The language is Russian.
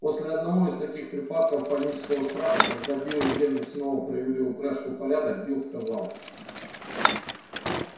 после одного из таких припадков панического страха когда билл и генри снова привели упряжку в порядок билл сказал